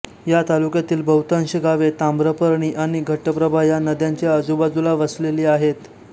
या तालुक्यातील बहुतांश गावे ताम्रपर्णी आणि घटप्रभा या नद्यांच्या आजुबाजूला वसलेली आहेत